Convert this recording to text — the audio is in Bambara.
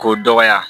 K'o dɔgɔya